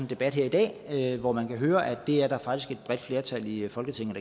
debat her i dag hvor man kan høre at det er der faktisk et bredt flertal i folketinget